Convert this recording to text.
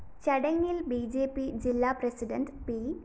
ചടങ്ങില്‍ B J P ജില്ലാ president P